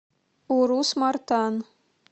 урус мартан